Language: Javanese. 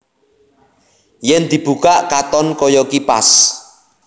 Yèn dibukak katon kaya kipas